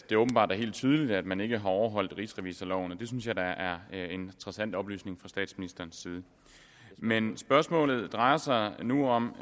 at det åbenbart er helt tydeligt at man ikke har overholdt rigsrevisorloven og det synes jeg da er en interessant oplysning fra statsministerens side men spørgsmålet drejer sig nu om